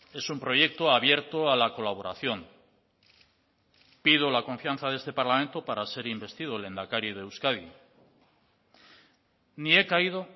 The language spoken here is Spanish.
es un proyecto abierto a la colaboración pido la confianza de este parlamento para ser investido lehendakari de euskadi ni he caído